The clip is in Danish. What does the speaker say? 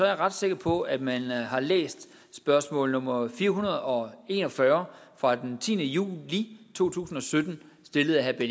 jeg ret sikker på at man har læst spørgsmål nummer fire hundrede og en og fyrre fra den tiende juli to tusind og sytten stillet af herre